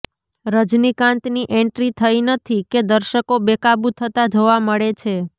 રજનીકાન્તની entry થઈ નથી કે દર્શકો બેકાબુ થતા જોવા મળે છે